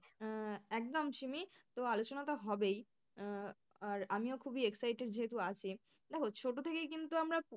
আহ একদম শিমি তো আলোচনাটা হবেই আহ আর আমিও খুবই excited যেহেতু আছি, হচ্ছে ওটা থেকেই কিন্তু আমরা।